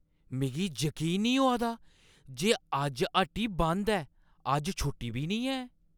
मिगी यकीन नेईं होआ दा जे अज्ज हट्टी बंद ऐ! अज्ज छुट्टी बी नेईं ऐ।